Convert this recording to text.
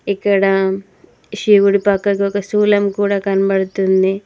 ఇక్కడ శివుడి పక్కకు ఒక స్థూలం కూడా కనబడుతుంది.